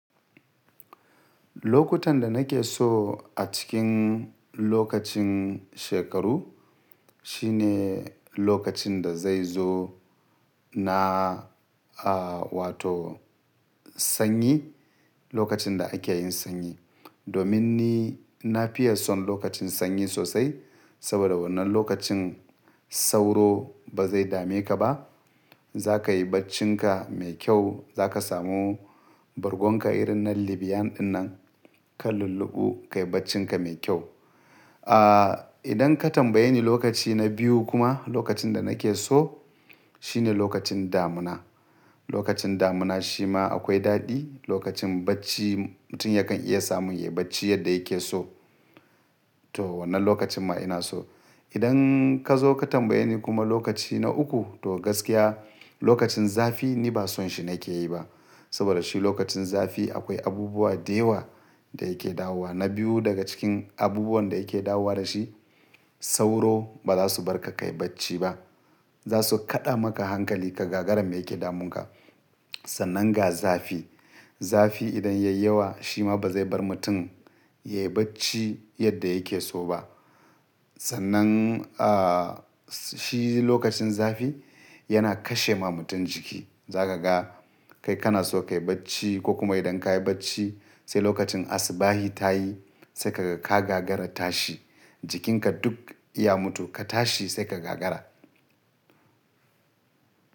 Lokuta da nake so a cikin lokacin shekaru shine lokacin da zai zo na, a wato sanyi, lokacin da ake yin sanyi. Domin ni na fiye son lokacin sanyi sosai saboda wannan lokacin sauro ba zai dame ka ba. Za ka yi baccinka mai kyau, za ka samu bargon ka irin na Libyan dinnan ka lulluɓu, ka yi baccinka mai kyau. A idan ka tambaye ni lokaci na biyu kuma lokacin da nake so shine lokacin damuna. Lokacin damuna shi ma akwai daɗi, lokacin bacci mutum yakan iya samun yayi bacci yadda yake so. To wannan lokacin ma ina so. Idan ka zo ka tambaye ni kuma lokaci na uku to gaskiya lokacin zafi ni ba son shi na ke yi ba. Saboda shi lokacin zafi akwai abubuwa da yawa da yake dawowa. Na biyu daga cikin abubuwan da yake dawowa da shi saura bazasu barka kayi bacci ba. Za su kaɗa maka hankali ka gagara mai yake damun ka. Sannan ga zafi. Zafi idan ya yi yawa shi ma ba zai bar mutum yayi bacci yadda yake so ba. Sannan a shi lokacin zafi yana kashe ma mutum jiki. Za ka ga kai kana so ka yi bacci ko kuma idan ka yi bacci sai lokacin asubahin ta yi sai ka gagara tashi. Jikin ka duk ya mutu ka tashi sai ka gagara.